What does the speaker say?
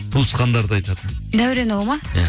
туысқандарды айтатын дәуренұлы ма иә